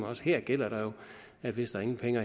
også her gælder der jo at hvis der ingen penge